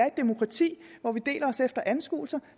et demokrati hvor vi deler os efter anskuelser